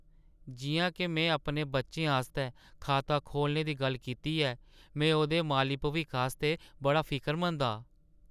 जिʼयां के में अपने बच्चे आस्तै खाता खोह्‌लने दी गल्ल कीती ऐ, में ओह्दे माली भविक्ख आस्तै बड़ा फिकरमंद हा।